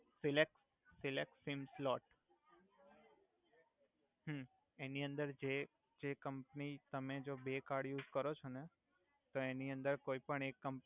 select selecting slot હ એનિ અંદર જે જે કમ્પની તમે જો બે કર્ડ યુસ કરો છો ને તો એની અંદર કોઈ પણ એક કમ્પ